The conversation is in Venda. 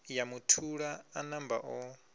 ya muthula a namba o